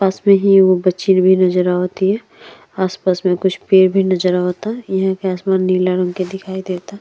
पास में ही एगो बच्ची भी नज़र आवतिया। आस-पास में कुछ पेड़ भी नज़र आवता। यहां के आसमान नीला रंग के दिखाई देता।